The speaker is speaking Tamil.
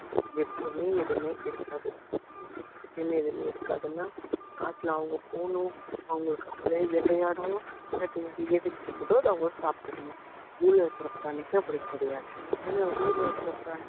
எப்போவுமே எதுவுமே இருக்காது எப்போவுமே எதுவுமே இருக்காதுன்னா காட்டுல அவங்க போகணும் அவங்களுக்கு அவங்களே வேட்டையாடணும் வேட்டையாடி எது கிடைக்குதோ அதை அவங்க சாப்பிட்டுக்கணும் zoo ல இருக்கிற பிராணிக்கு அப்படி கிடையாது ஏன்னா zoo ல இருக்கிற பிராணி